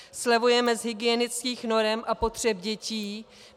Slevujeme z hygienických norem a potřeb dětí.